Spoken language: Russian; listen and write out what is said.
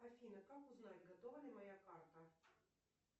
афина как узнать готова ли моя карта